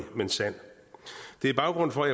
men sand det er baggrunden for